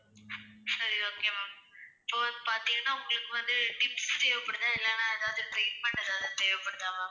சரி okay ma'am. இப்போ வந்து பாத்தீங்கன்னா உங்களுக்கு வந்து tips தேவப்படுத்தா, இல்ல treatment எதாவது தேவப்படுத்தா ma'am?